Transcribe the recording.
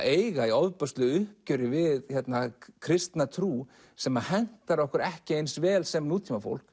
eiga í ofboðslegu uppgjöri við kristna trú sem hentar okkur ekki eins vel sem nútímafólki